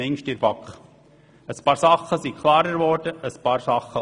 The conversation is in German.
Ein paar Dinge sind klarer geworden, andere nicht.